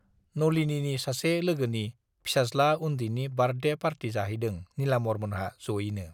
नलिनीनि सासे लोगोनि फिसाज्ला उन्दैनि बार्थडे पार्टि जाहैदों नीलाम्बरमोनहा जयैनो।